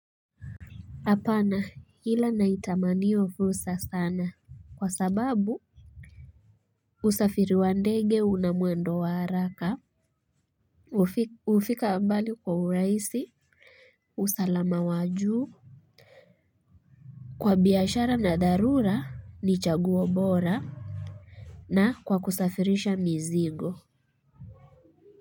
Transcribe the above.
Hapana ila naitamani hiyo fursa sana kwa sababu usafiri wa ndege una mwendo wa haraka. Hufika ambali kwa urahisi usalama wa juu. Kwa biashara na dharura ni chaguo bora. Na kwa kusafirisha mizigo.